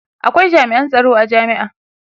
akwai jami'an tsaron a jami'a